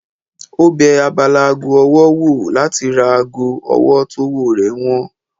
Ó bẹ abala ago ọwọ́ wò láti ra ago ọwọ́ tówó rẹ̀ wọ́n